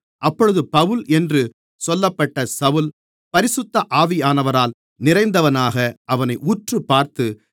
அப்பொழுது பவுல் என்று சொல்லப்பட்ட சவுல் பரிசுத்த ஆவியானவரால் நிறைந்தவனாக அவனை உற்றுப்பார்த்து